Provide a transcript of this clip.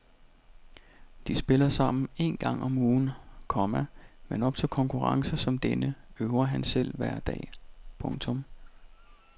De spiller sammen en gang om ugen, komma men op til konkurrencer som denne øver han selv hver dag. punktum